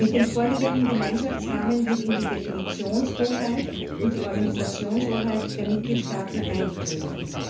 Mit dem vorliegenden Gemeinschaftsrahmen wird in die Definitionshoheit und die Organisationshoheit der Mitgliedstaaten eingegriffen.